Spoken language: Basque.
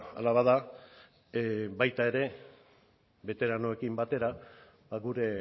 hala bada baita ere beteranoekin batera gure